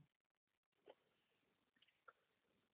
blank